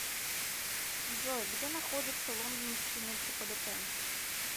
джой где находится лондонский метрополитен